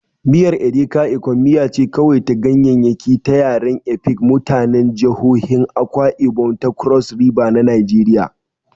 Miyar Edikaikong miya ce kawai ta ganyaryaki ta yaren Efik, mutanen jihohin Akwa Ibom da Cross River na Najeriya.